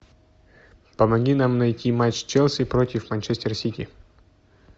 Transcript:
помоги нам найти матч челси против манчестер сити